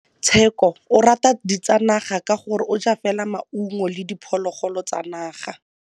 Tshekô o rata ditsanaga ka gore o ja fela maungo le diphologolo tsa naga.